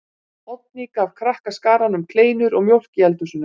Oddný gaf krakkaskaranum kleinur og mjólk í eldhúsinu.